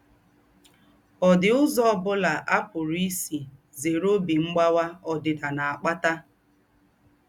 Ọ̀ dì úzọ́ ọ̀ bùlà à pùrù ísí zèrè óbí mgbawà ódìdà nà-àkpàtà?